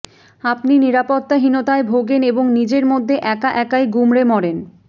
আপনি নিরাপত্তাহীনতায় ভোগেন এবং নিজের মধ্যে একা একাই গুমড়ে মরেন